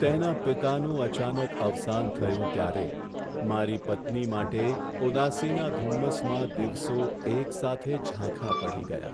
તેના પિતાનું અચાનક અવસાન થયું ત્યારે મારી પત્ની માટે ઉદાસીના ધુમ્મસમાં દિવસો એકસાથે ઝાંખા પડી ગયા.